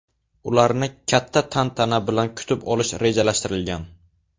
Ularni katta tantana bilan kutib olish rejalashtirilgan.